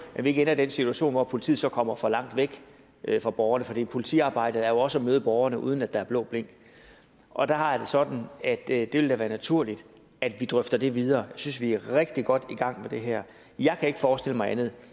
at vi ikke ender i den situation at politiet så kommer for langt væk fra borgerne for politiarbejdet er jo også at møde borgerne uden at der er blå blink og der har jeg det sådan at det da vil være naturligt at vi drøfter det videre synes vi er rigtig godt i gang med det her jeg kan ikke forestille mig andet